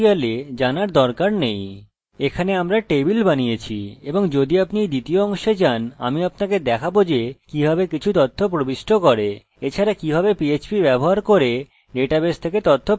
এখানে আমরা টেবিল বানিয়েছি এবং যদি আপনি এর দ্বিতীয় অংশে যান আমি আপনাকে দেখাবো যে কিভাবে কিছু তথ্য প্রবিষ্ট করে এছাড়া কিভাবে php ব্যবহার করে ডাটাবেস থেকে তথ্য প্রাপ্ত করে